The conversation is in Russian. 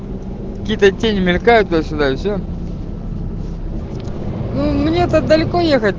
какие то тени мелькают туда сюда и все мне то далеко ехать